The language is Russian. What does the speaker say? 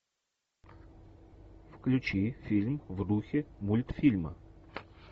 включи фильм в духе мультфильма